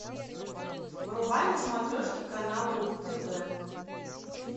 врубай на смотрешке канал ру тв